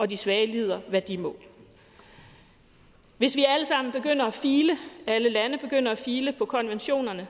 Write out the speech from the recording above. de svage lider hvad de må hvis alle lande begynder at file på konventionerne